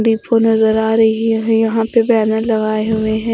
Depot नजर आ रही है यहां पे बैनर लगाए हुए हैं।